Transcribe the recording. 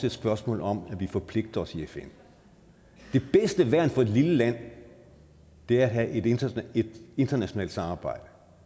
et spørgsmål om at vi forpligter os i fn det bedste værn for et lille land er at have et internationalt samarbejde og